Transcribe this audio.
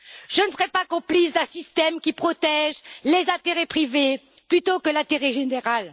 Je ne serai pas complice d'un système qui protège les intérêts privés plutôt que l'intérêt général.